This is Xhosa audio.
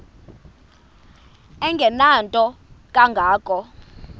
engenanto kanga ko